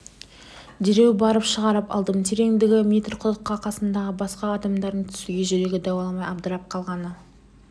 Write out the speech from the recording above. дереу барып шығарып алдым тереңдігі метр құдыққа қасымдағы басқа адамдардың түсуге жүрегі дауаламай абдырап қалғаны